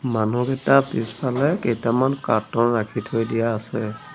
মানুহকেইটা পিছফালে কেইটামান ৰাখি থৈ দিয়া আছে।